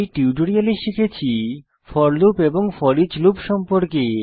এই টিউটোরিয়ালে শিখেছি পর্লে ফোর লুপ এবং ফোরিচ লুপ সম্পর্কে